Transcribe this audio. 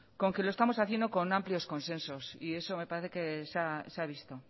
con que lo estamos haciendo con amplios consensos y eso me parece que se ha visto